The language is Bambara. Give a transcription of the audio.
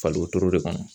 Fali wotoro de kɔnɔ